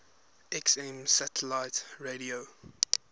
xm satellite radio